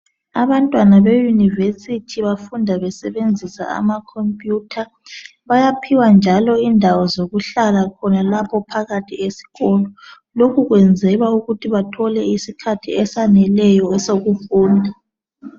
Abantwana beUniversity bafunda besebenzisa ama computer. Bayaphiwa njalo indawo zokuhlala khonalapho esikolo, lokhu kwenzelwa ukuthi bathole isikhathi esaneleyo sokufunda